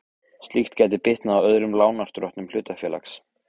Slíkt gæti bitnað á öðrum lánardrottnum hlutafélags.